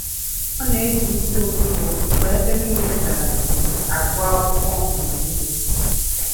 Ọ na-eji isi ụtụtụ mgbe ebe niile dara jii agụ akwụkwọ ọmụmụ ihe